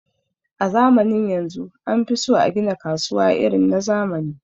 a zamanin yanzu anfiso agina kasuwa irin na zamani